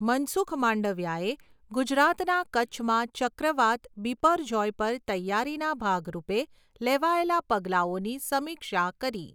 મનસુખ માંડવિયાએ ગુજરાતના કચ્છમાં ચક્રવાત બિપરજૉય પર તૈયારીના ભાગરૂપે લેવાયેલાં પગલાંઓની સમીક્ષા કરી